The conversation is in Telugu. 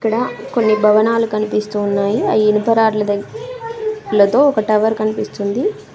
ఇక్కడ కొన్ని భవనాలు కనిపిస్తూ ఉన్నాయి అయ్ ఇనుప రాడ్ల దగ్ లతో ఒక టవర్ కనిపిస్తుంది.